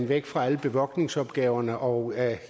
væk fra alle bevogtningsopgaverne og